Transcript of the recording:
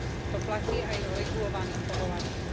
To platí aj o regulovaných povolaniach.